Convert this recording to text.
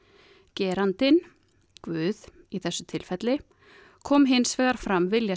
gerandinn guð í þessu tilfelli kom hins vegar fram vilja